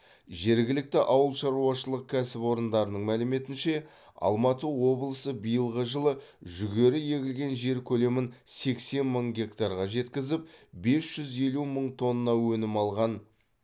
жергілікті ауыл шаруашылық кәсіпорындарының мәліметінше алматы облысы биылғы жылы жүгері егілген жер көлемін сексен мың гектарға жеткізіп бес жүз елу мың тонна өнім алған